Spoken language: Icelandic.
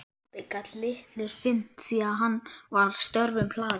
Pabbi gat litlu sinnt því að hann var störfum hlaðinn.